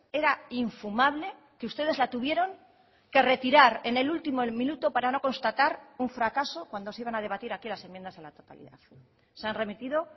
era infumable que ustedes la tuvieron que retirar en el último minuto para no constatar un fracaso cuando se iban a debatir aquí las enmiendas a la totalidad se han remitido